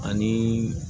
Ani